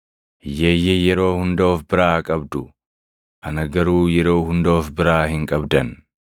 Hiyyeeyyii yeroo hunda of biraa qabdu; ana garuu yeroo hunda of biraa hin qabdan.”